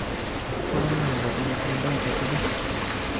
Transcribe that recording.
Kokanyokokatan kwondab abule